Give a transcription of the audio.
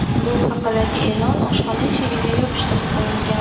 Bu haqidagi e’lon oshxona eshigiga yopishtirib qo‘yilgan.